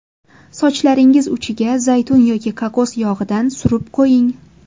Sochlaringiz uchiga zaytun yoki kokos yog‘idan surib qo‘ying.